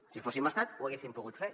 si fóssim estat ho haguéssim pogut fer